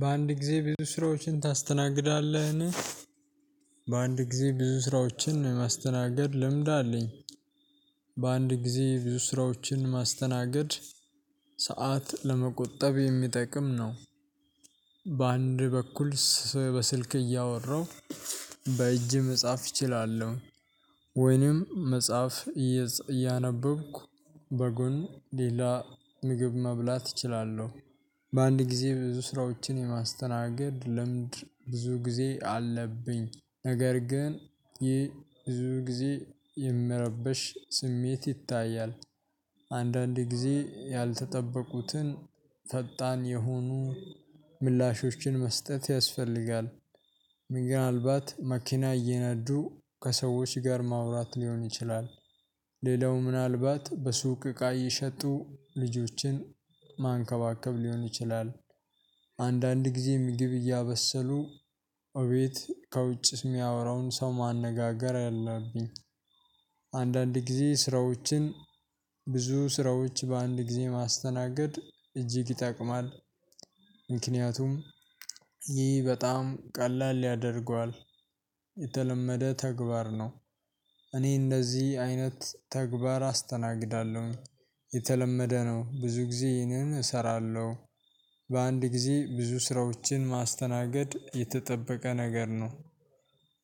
በአንድ ጊዜ ብዙ ስራዎችን ታስተናግዳለህ? በአንድ ጊዜ ብዙ ስራዎችን የማስተናገድ ልምድ አለኝ። በአንድ ጊዜ ብዙ ስራዎችን ማስተናገድ ሰዓት ለመቆጠብ የሚጠቅም ነው። በአንድ በኩል በስልክ እያወራው በእጅ መጽሐፍ እችላለሁ ወይንም መጽሐፍ እያነበብኩ በጎን ሌላ ምግብ መብላት እችላለሁ። በአንድ ጊዜ ብዙ ስራዎችን የማስተናገድ ልምድ ብዙ ጊዜ አለብኝ ነገር ግን ይህ ብዙ ጊዜ የምረበሽ ስሜት ይታያል። አንዳንዴ ጊዜ ያልተጠበቁትን ፈጣን የሆኑ ምላሾችን መስጠት ያስፈልጋል። ምን አልባት መኪና እየነዱ ከሰዎች ጋር ማውራት ሊሆን ይችላል። ሌላው ምናልባት በሱቅ እቃ እየሸጡ ልጆችን ማንከባከብ ሊሆን ይችላል። አንዳንድ ጊዜ ምግብ እያበሰሉ እቤት ከውጭ የሚያወራውን ሰው ማነጋገር አለብኝ። አንዳንድ ጊዜ ስራዎችን ብዙ ስራዎች በአንድ ጊዜ ማስተናገድ እጅግ ይጠቅማል። ምክንያቱም ይህ በጣም ቀላል ያደርገዋል የተለመደ ተግባር ነው። እኔ እንደዚህ አይነት ተግባር አስተናግዳለሁ የተለመደ ነው ብዙ ጊዜ ይህንን እሰራለሁ። በአንድ ጊዜ ብዙ ስራዎችን ማስተናገድ የተጠበቀ ነገር ነው።